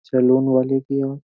salon वाले के यहाँ --